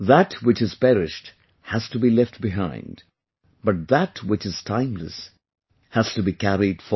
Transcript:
That which has perished has to be left behind, but that which is timeless has to be carried forward